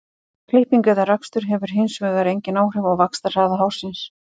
Klipping eða rakstur hefur hins vegar engin áhrif á vaxtarhraða hársins.